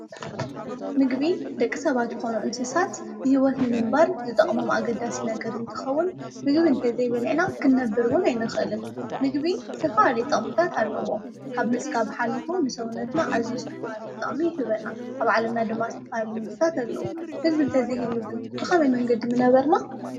ምግቢ ንደቂ ሰባት ኮኑ እንስሳት ብሂወት ንምንባር ዝጠቅሞም አገዳሲ ነገር እንትኸውን ምግቢ እንተዘይ በሊዕና ክንነብር እውን አይንኽእልን። ምግቢ ዝተፈላለዩ ጥቅምታት አለዎ ካብ ምፅጋብ ሓሊፉ ንሰውነትና አዝዩ ዝተፈላለዩ ጥቅሚ ይህበና። አብ ዓለምና ድማ ዝተፈላለዩ ምግብታት አለው። ምግቢ እንተዘይህሉ ብኸመይ መንገዲ ምነበርና?